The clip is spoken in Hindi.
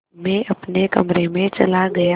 मैं अपने कमरे में चला गया